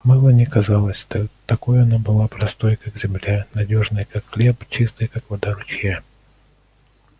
мелани казалась да такой она и была простой как земля надёжной как хлеб чистой как вода ручья